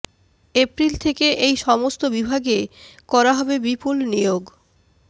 April থেকে এই সমস্ত বিভাগে করা হবে বিপুল নিয়োগ